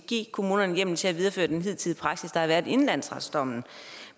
give kommunerne en hjemmel til at videreføre den hidtidige praksis inden landsretsdommen